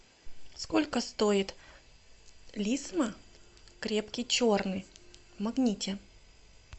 сколько стоит лисма крепкий черный в магните